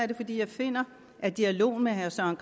det fordi jeg finder at dialog med herre søren